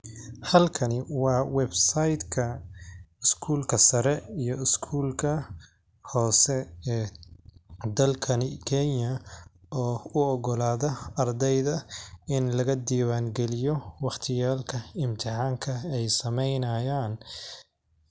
Halkani waa website ka iskuulka sare iyo iskuulka hoose ee dalkani Kenya oo u ogolaada ardayda in laga diiwaan geliyo wakhti yaalka imtixaanka ay sameynayaan.